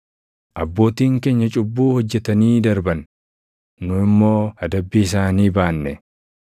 Abbootiin keenya cubbuu hojjetanii darban; nu immoo adabbii isaanii baanne.